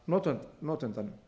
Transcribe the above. af notandanum